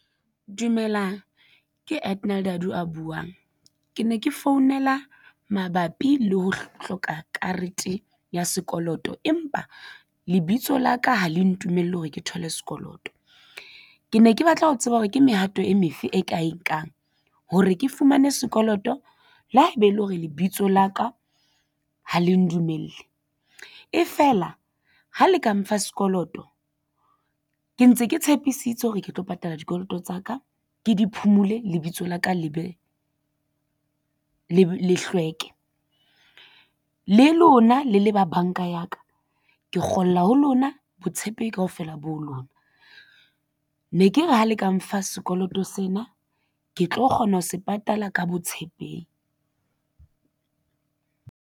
Dumelang, ke Edanal Dadu a buwang. Ke ne ke founela mabapi le ho hloka karete ya sekoloto. Empa lebitso la ka ha le ntumelle hore ke thole sekoloto ke ne ke batla ho tseba hore ke mehato e me fe e ka e nkang hore ke fumane sekoloto le ha ebe ele hore lebitso la ka ha le ndumelle e fela ha le ka mfa sekoloto ke ntse ke tshepisitse hore ke tlo patala dikoloto tsa ka ke diphumule lebitso la ka le be le hlweke le lona le le ba banka ya ka ke kgola ho lona botshepehi kaofela bo lona ne ke re ha le ka mfa sekoloto sena ke tlo kgona ho se patala ka botshepehi.